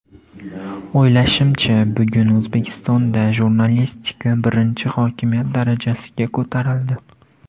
O‘ylashimcha, bugun O‘zbekistonda jurnalistika birinchi hokimiyat darajasiga ko‘tarildi.